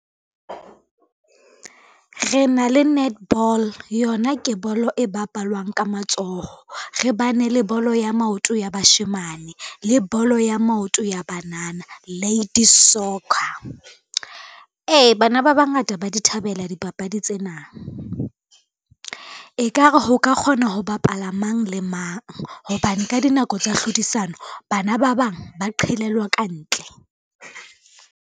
Re na le netball yona ke bolo e bapalwang ka matsoho, re bane le bolo ya maoto ya bashemane le bolo ya maoto ya banana, ladies soccer. Ee, bana ba bangata ba di thabela dipapadi tsena, ekare ho ka kgona ho bapala mang le mang, hobane ka dinako tsa hlodisano bana ba bang ba qhelellwa kantle.